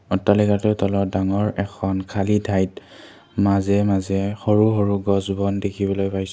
অট্টালিকাটোৰ তলত ডাঙৰ এখন খালী ঠাইত মাজে মাজে সৰু সৰু গছ কেইজোপামান দেখিবলৈ পাইছোঁ।